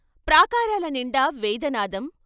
ప్రాకారాలనిండా వేదనాదం.